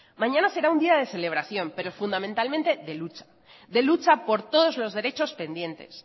mañana será un día de celebración pero fundamentalmente de lucha de lucha por todos los derechos pendientes